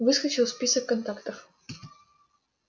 выскочил список контактов